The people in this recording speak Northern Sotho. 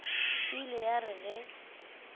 e ile ya re ge